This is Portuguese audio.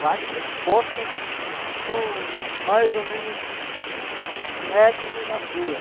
Quatro postas com mais ou menos um metro de largura.